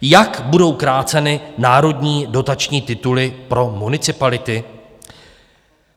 Jak budou kráceny národní dotační tituly pro municipality?